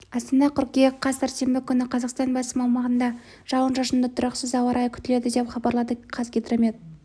астана қыркүйек қаз сәрсенбі күні қазақстанның басым аумағында жауын-шашынды тұрақсыз ауа райы күтіледі деп хабарлады қазгидромет